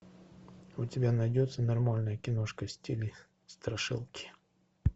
у тебя найдется нормальная киношка в стиле страшилки